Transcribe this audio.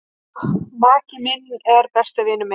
Maki minn er besti vinur minn.